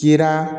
Kira